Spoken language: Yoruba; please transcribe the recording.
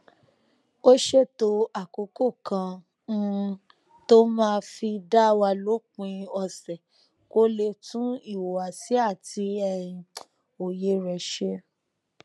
ó ṣètò àkókò kan um tó máa fi dá wà lópin òsè kó lè tún ìhùwàsí àti um òye rè ṣe